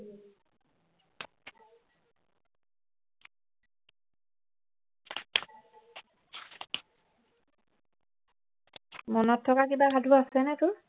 মনত থকা কিবা সাধু আছেনে তোৰ